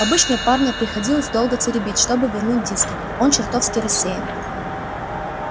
обычно парня приходилось долго теребить чтобы вернул диски он чертовски рассеян